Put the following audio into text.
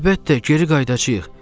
Əlbəttə, geri qayıdacağıq.